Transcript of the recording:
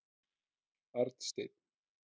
Arnsteinn